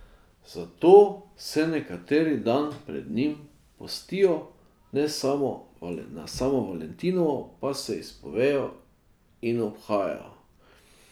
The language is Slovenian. Zato se nekateri dan pred njim postijo, na samo valentinovo pa se izpovejo in obhajajo.